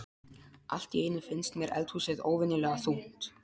Allt í einu finnst mér eldhúsið óvenjulega þungt.